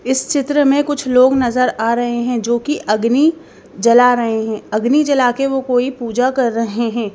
इस चित्र में कुछ लोग नजर आ रहे हैं जो कि अग्नि जला रहे हैं अग्नि जला के वो कोई पूजा कर रहे हैं।